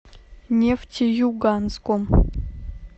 нефтеюганском